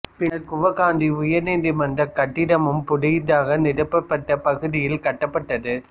பின்னர் குவகாத்தி உயர் நீதிமன்ற கட்டடமும் புதிதாக நிரப்பப்பட்ட பகுதியில் கட்டப்பட்டது